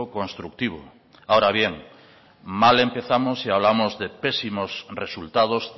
constructivo ahora bien mal empezamos si hablamos de pésimos resultados